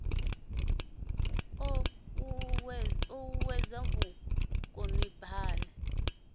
ii i o uuwedza vhukonibale